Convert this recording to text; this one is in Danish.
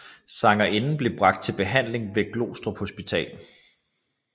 Sangerinden blev bragt til behandling ved Glostrup Hospital